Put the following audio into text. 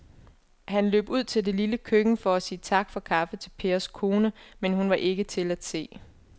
Han løb ud i det lille køkken for at sige tak for kaffe til Pers kone, men hun var ikke til at se.